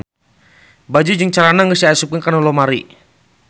Baju jeung calana geus diasupkeun kana lomari